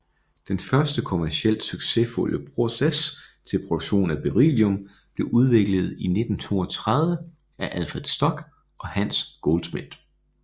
Den første kommercielt succesfulde proces til produktion af beryllium blev udviklet i 1932 af Alfred Stock og Hans Goldschmidt